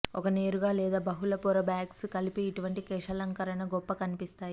ఒక నేరుగా లేదా బహుళ పొర బ్యాంగ్స్ కలిపి ఇటువంటి కేశాలంకరణ గొప్ప కనిపిస్తాయని